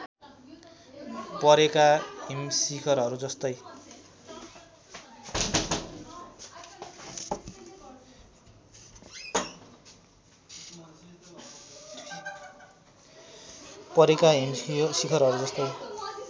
परेका हिमशिखरहरू जस्तै